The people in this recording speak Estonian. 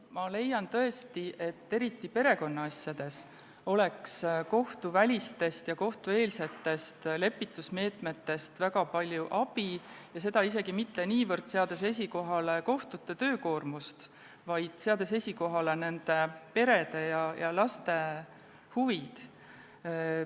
Ma leian tõesti, et eriti perekonnaasjades oleks kohtuvälistest ja kohtueelsetest lepitusmeetmetest väga palju abi, seda isegi mitte niivõrd kohtute töökoormust esikohale seades, vaid seades esikohale nende perede ja laste huvid.